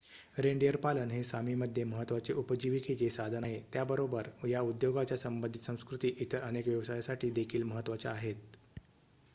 reindeer पालन हे Sami मध्ये महत्त्वाचे उपजीविकेचे साधन आहे त्याचबरोबर या उद्योगाच्या संबधित संस्कृती इतर अनेक व्यवसायासाठी देखील महत्त्वाच्या आहेत